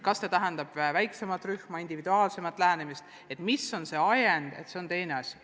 Kas see tähendab väiksemat rühma, individuaalsemat lähenemist – oleneb ajendist.